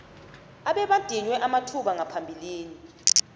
abebadinywe amathuba ngaphambilini